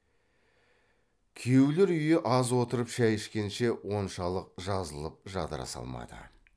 күйеулер үйі аз отырып шай ішкенше оншалық жазылып жадыраса алмады